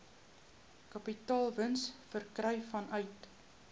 kapitaalwins verkry vanuit